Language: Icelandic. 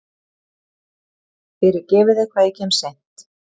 Fyrirgefiði hvað ég kem seint.